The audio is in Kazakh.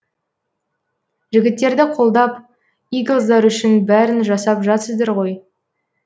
жігіттерді қолдап иглздар үшін бәрін жасап жатсыздар ғой